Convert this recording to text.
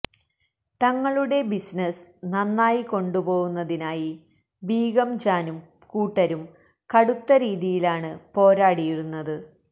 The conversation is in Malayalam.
തങ്ങളുടെ ബിസിനസ് നന്നായി കൊണ്ടു പോവുന്നതിനായി ബീഗം ജാനും കൂട്ടരും കടുത്ത രീതിയിലാണ് പോരാടിയിരുന്നത്